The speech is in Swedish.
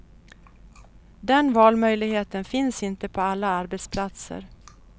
Den valmöjligheten finns inte på alla arbetsplatser.